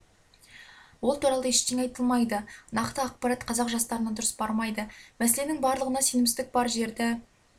ол туралы ештеңе айта алмайды нақты ақпарат қазақ жастарына дұрыс бармайды мәселенің барлығында сенімсіздік бар жерді